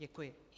Děkuji.